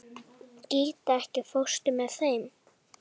Gíta, ekki fórstu með þeim?